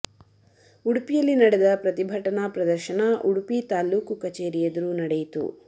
ಉಡುಪಿಯಲ್ಲಿ ನಡೆದ ಪ್ರತಿಭಟನಾ ಪ್ರದರ್ಶನ ಉಡುಪಿ ತಾಲೂಕು ಕಚೇರಿ ಎದುರು ನಡೆಯಿತು